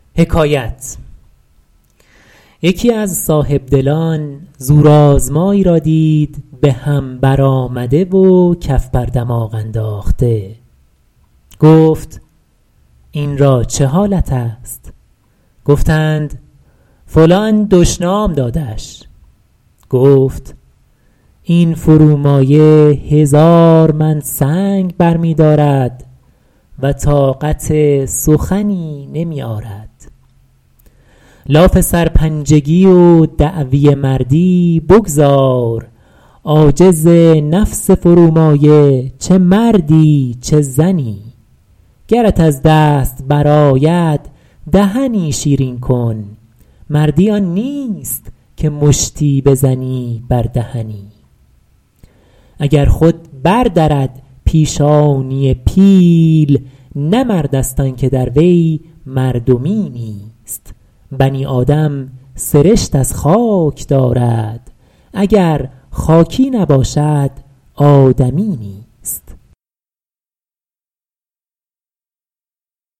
یکی از صاحبدلان زورآزمایی را دید به هم برآمده و کف بر دماغ انداخته گفت این را چه حالت است گفتند فلان دشنام دادش گفت این فرومایه هزار من سنگ برمی دارد و طاقت سخنی نمی آرد لاف سرپنجگی و دعوی مردی بگذار عاجز نفس فرومایه چه مردی چه زنی گرت از دست برآید دهنی شیرین کن مردی آن نیست که مشتی بزنی بر دهنی اگر خود بر درد پیشانی پیل نه مرد است آن که در وی مردمی نیست بنی آدم سرشت از خاک دارد اگر خاکی نباشد آدمی نیست